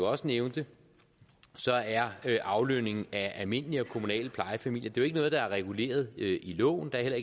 også nævnte er aflønningen af almindelige og kommunale plejefamilier ikke noget der er reguleret i loven og der